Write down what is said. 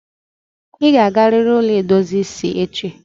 I ga agariri ụlọ edozi isi echi!